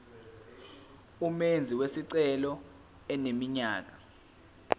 umenzi wesicelo eneminyaka